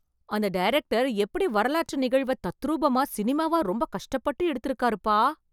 அந்த டைரக்டர் எப்படி வரலாற்று நிகழ்வை தத்ரூபமா சினிமாவா ரொம்ப கஷ்டப்பட்டு எடுத்து இருக்காருப்பா.